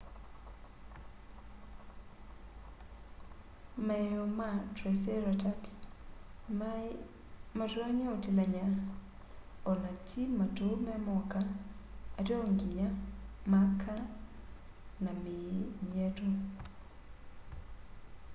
maeo ma triceratops mei matonya utilany'a o na ti matu me moka ateo nginya maka na mii myetu